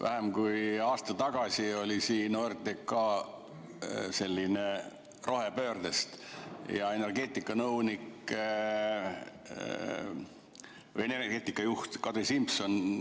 Vähem kui aasta tagasi oli siin OTRK rohepöördest ja siin oli energeetikanõunik või energeetikajuht Kadri Simson.